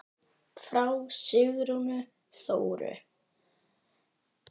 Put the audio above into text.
Frá Sigrúnu Þóru.